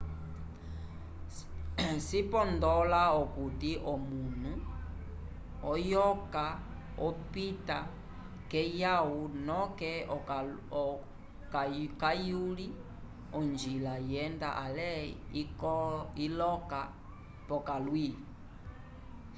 cipondola akuti omunu oyoka opita keyaw noke kayuli ongila yenda ale iloka pokalwi